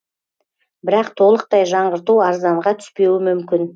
бірақ толықтай жаңғырту арзанға түспеуі мүмкін